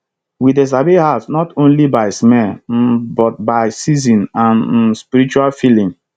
we dey sabi herbs not only by smell um but by season and um spiritual feeling